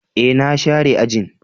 E, na share ajin.